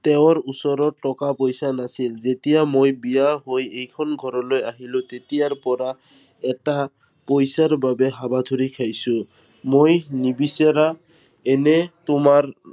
তেওঁৰ ওচৰত টকা-পইচা নাছিল। যেতিয়াৰ পৰা মই বিয়া হৈ এইখন ঘৰলৈ আহিলো তেতিয়াৰ পৰা, এটা পইচাৰ বাবে হাবাথুৰি খাইছো। মই নিবিচাৰা এনে তোমাৰ